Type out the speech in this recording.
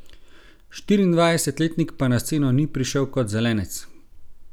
Štiriindvajsetletnik pa na sceno ni prišel kot zelenec.